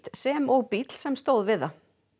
sem og bíll sem stóð við það